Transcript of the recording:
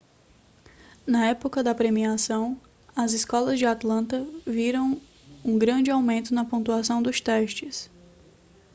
na época da premiação as escolas de atlanta viram um grande aumento nas pontuações dos testes